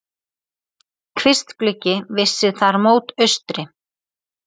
Kvistgluggi vissi þar mót austri.